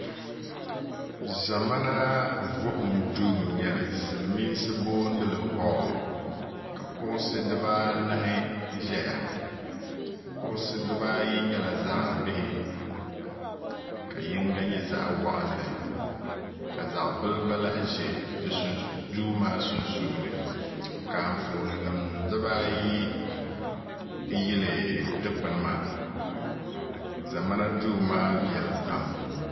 ʒɛmana vuhum duu n nyɛli silmiinsi boonili hool ka kuɣusi dibaanahi ʒɛya kuɣusi dibaayi nyɛla zaɣ bihi ka yinga nyɛ zaɣ waɣanli ka zaɣ bili gba lahi ʒɛ duu maa sunsuuni ka Anfooni nim dibaayi yili dikpuni maa ʒɛmana duu maa viɛli pam